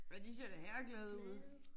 Men de ser da herreglade ud